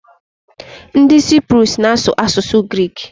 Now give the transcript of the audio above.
Nid Cyprus na asu asusu Greeki